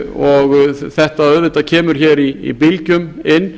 og þetta auðvitað kemur hér í bylgjum inn